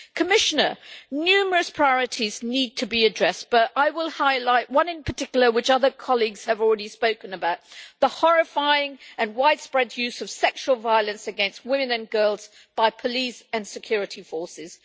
Commissioner, numerous priorities need to be addressed, but I will highlight one in particular which other colleagues have already spoken about the horrifying and wide spread use of sexual violence against women and girls by police and security forces.